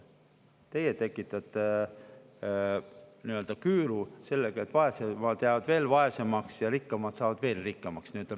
Teie tekitate nii-öelda küüru sellega, et vaesed jäävad veel vaesemaks ja rikkad saavad veel rikkamaks.